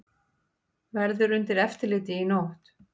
Verður undir eftirliti í nótt